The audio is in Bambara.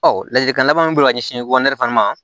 Ɔ ladilikan laban min bɛ ka ɲɛsin ma